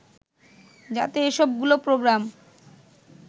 যাতে সবগুলো প্রোগ্রাম